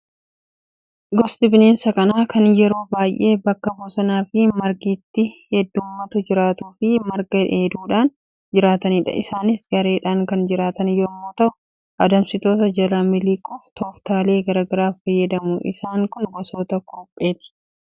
Gosti bineensa kanaa kan yeroo baay'ee bakka bosonaa fi margi itti heddummaatu jiraatuu fi marga dheeduudhaan jiraatanidha. Isaanis gareedhaan kan jiraatan yommuu ta'u, adamsitoota jalaa miliquuf tooftaalee garaagaraa fayyadamu. Isaan kun gosoota kurupheeti.